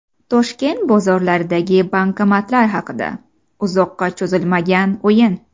Toshkent bozorlaridagi bankomatlar haqida: Uzoqqa cho‘zilmagan o‘yin .